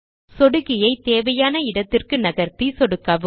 சொடுக்கியை தேவையான இடத்திற்கு நகர்த்தி சொடுக்கவும்